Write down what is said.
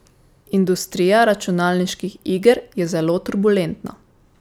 Industrija računalniških iger je zelo turbulentna.